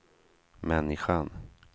människan